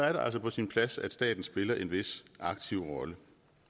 er det altså på sin plads at staten spiller en vis aktiv rolle